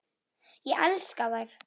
Ég elska þær.